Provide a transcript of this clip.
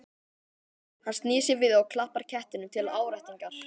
Hann snýr sér við og klappar klettinum til áréttingar.